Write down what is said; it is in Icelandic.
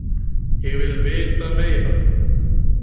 Ég vil vita meira.